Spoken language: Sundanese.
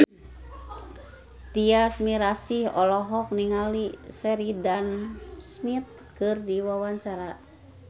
Tyas Mirasih olohok ningali Sheridan Smith keur diwawancara